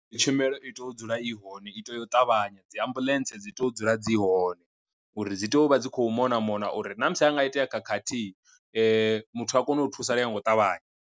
Tshumelo i tea u dzula i hone i tea u ṱavhanya dzi ambuḽentse dzi tea u dzula dzi hone, uri dzi tea u vha dzi kho mona mona uri ṋamusi anga itea khakhathi muthu a kone u thusalea nga u ṱavhanya.